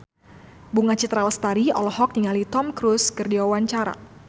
Bunga Citra Lestari olohok ningali Tom Cruise keur diwawancara